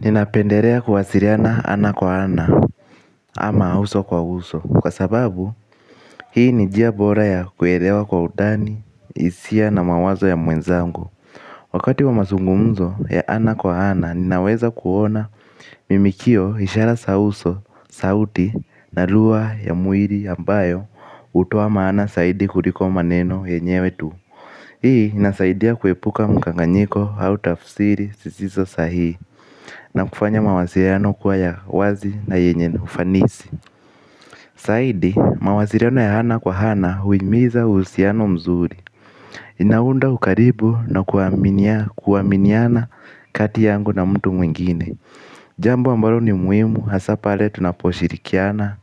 Ninapendelea kuwasiliana ana kwa ana ama uso kwa uso. Kwa sababu hii ni njia bora ya kuelewa kwa undani, hisia na mawazo ya mwenzangu. Wakati wa masungumzo ya ana kwa ana ninaweza kuona mimikio ishara za uso, sauti na lugha ya mwili ambayo hutoa maana zaidi kuliko maneno ya nyewe tu hii inasaidia kuepuka mkanganyiko au tafsiri zisizo sahihi na kufanya mawasiliano kuwa ya wazi na yenye ufanisi zaidi mawasiliano ya ana kwa ana huhimiza uhusiano mzuri. Inaunda ukaribu na kuaminia kuaminiana kati yangu na mtu mwingine. Jambo ambalo ni muhimu hasa pale tunaposhirikiana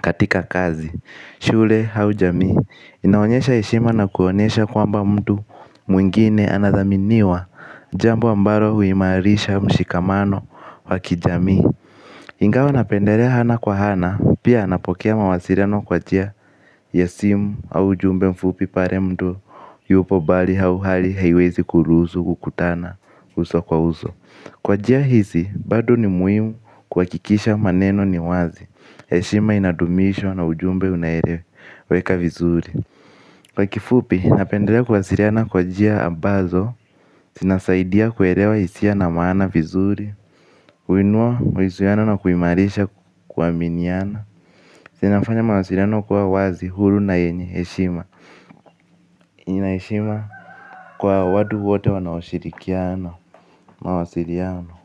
katika kazi shule au jamii. Inaonyesha heshima na kuonyesha kwamba mtu mwingine anathaminiwa. Jambo ambalo huimarisha mshikamano wa kijamii ingawa napendelea ana kwa ana, pia napokea mawasiliano kwa njia ya simu au ujumbe mfupi pale mtu yupo mbali au hali haiwezi kuruhusu kukutana uso kwa uso kwa njia hizi bado ni muhimu kuhakikisha maneno ni wazi heshima inadumishwa na ujumbe unaeleweka vizuri. Kwa kifupi, napendelea kuwasiliana kwa njia ambazo, zinasaidia kuelewa hisia na maana vizuri. Kuinua, mahusiano na kuimarisha kuaminiana yanafanya mawasiliano kuwa wazi huru na yenye heshima. Ina heshima kwa watu wote wanaoshirikiana mawasiliano.